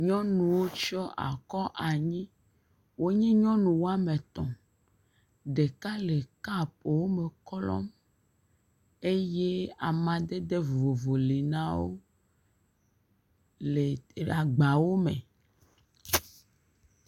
Nyɔnuwo tsɔ akɔ anyi. Wonye nyɔnu woame etɔ̃. Ɖeka le kɔpuwo me klɔm eye amadede vovovo li na wo li agbawo me.